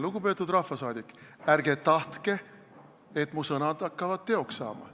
Lugupeetud rahvasaadik, ärge tahtke, et mu sõnad hakkavad teoks saama.